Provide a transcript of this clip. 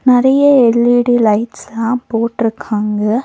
நெறைய எல்_இ_டி லைட்ஸ்லா போட்டிருக்காங்க.